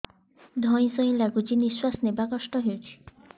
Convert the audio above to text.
ଧଇଁ ସଇଁ ଲାଗୁଛି ନିଃଶ୍ୱାସ ନବା କଷ୍ଟ ହଉଚି